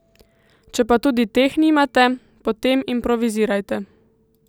Če pa tudi teh nimate, potem improvizirajte.